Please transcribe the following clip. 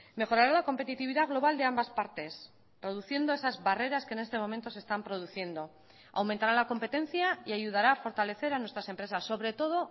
mejorará la competitividad global de ambas partes reduciendo esas barreras que en este momento se están produciendo aumentará la competencia y ayudará a fortalecer a nuestras empresas sobre todo